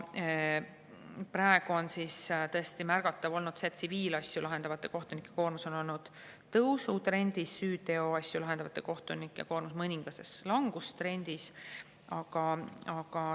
Praegu on tõesti olnud märgata, et tsiviilasju lahendavate kohtunike koormus on olnud tõusutrendis, süüteoasju lahendavate kohtunike koormus mõningases langustrendis.